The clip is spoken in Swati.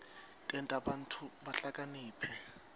tenta bantfu bahlakaniphe